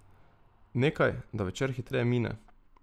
Nekaj, da večer hitreje mine.